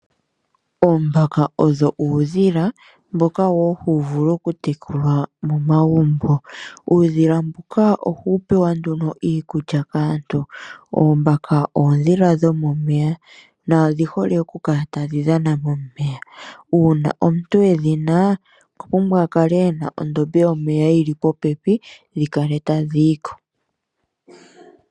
Oombaka odho uudhila mboka woo huu vulu okutekulwa momagumbo. Uudhila mbuka ohuu pewa nduno iikulya kaantu. Oombaka oodhila dho momeya na odhihole oku kala tadhi dhana momeya. Uuna omuntu edhi na, okwa pumbwa akale ena ondombe yomeya yi li popepi dhi kale tadhi yi ko.